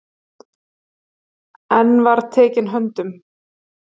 Einn var tekinn höndum.